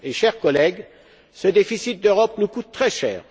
Chers collègues, ce déficit d'Europe nous coûte très cher.